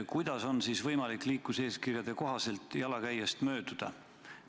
Kuidas on siis võimalik liikluseeskirja kohaselt jalakäijast mööduda?